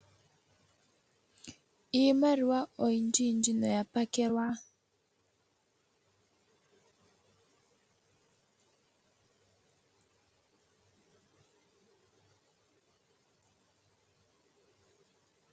Iimaliwa oyindjiyindji noya pakelwa.